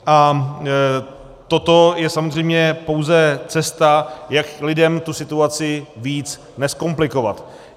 A toto je samozřejmě pouze cesta, jak lidem tu situaci víc nezkomplikovat.